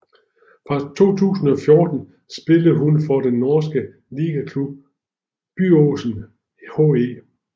Fra 2014 spillede hun for den norske ligaklub Byåsen HE